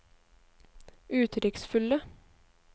uttrykksfulle